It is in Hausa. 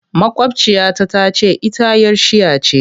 Maƙwabciya ta ta ce ita 'yar shia ce.